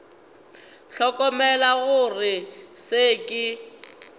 hlokomela gore go se ke